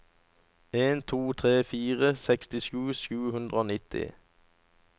en to tre fire sekstisju sju hundre og nitti